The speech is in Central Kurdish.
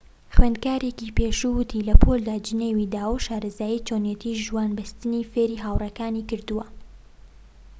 خوێندکارێکی پێشوو وتی لە پۆلدا جنێوی داوە و شارەزایی چۆنیەتی ژوان بەستنی فێری هاوڕێکانی کردووە